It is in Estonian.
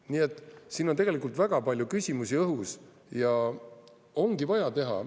Nii et siin on tegelikult väga palju küsimusi õhus ja ongi vaja teha.